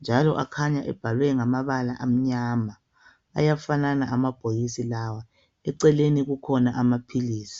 njalo akhanya ebhalwe ngamabala amnyama. Ayafanana amabhokisi lawa. Eceleni kukhona amaphilisi.